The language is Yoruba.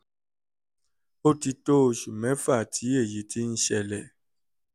ó ti tó oṣù mẹ́fà tí èyí ti ń ṣẹlẹ̀